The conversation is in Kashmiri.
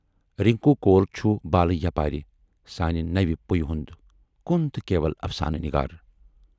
رِنکوٗ کول چھُ بالہٕ یپارِ سانہِ نَوِ پُیہِ ہُند کُن تہٕ کیٖوَل اَفسانہٕ نِگار۔